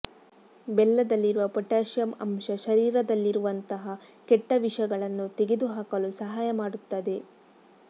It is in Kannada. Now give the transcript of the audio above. ಬೆಲ್ಲದಲ್ಲಿರುವ ಪೊಟ್ಯಾಶಿಯಂ ಅಂಶ ಶರೀರದಲ್ಲಿರುವಂತಹ ಕೆಟ್ಟ ವಿಷಗಳನ್ನು ತೆಗೆದುಹಾಕಲು ಸಹಾಯ ಮಾಡುತ್ತದೆ